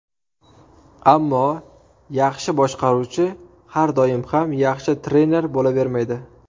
Ammo yaxshi boshqaruvchi har doim ham yaxshi trener bo‘lavermaydi.